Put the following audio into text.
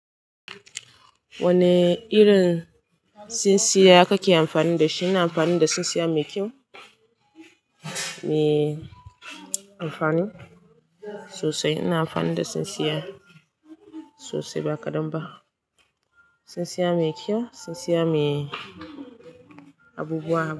Wane irin tsintsiya kake amfani da shi? Ina amfani da tsintsiya mai kyau, mai amfani sosai. Ina amfani da tsintsiya sosai ba kadan ba. Tsintsiya mai kyau tsintsiya, mai abubuwa.